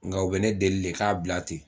Nga o bɛ ne deli de k'a bila ten